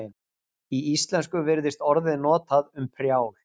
í íslensku virðist orðið notað um prjál